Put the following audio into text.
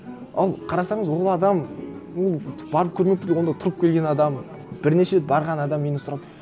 ол қарасаңыз ол адам ну барып көрмек түгіл онда тұрып келген адам бірнеше рет барған адам менен сұрап